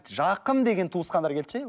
жақын деген туысқандар келді ше